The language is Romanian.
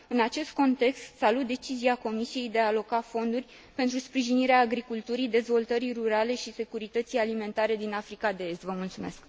În acest context, salut decizia Comisiei de a aloca fonduri pentru sprijinirea agriculturii, dezvoltării rurale și securității alimentare din Africa de Est.